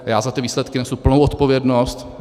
Já za ty výsledky nesu plnou odpovědnost.